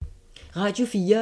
Radio 4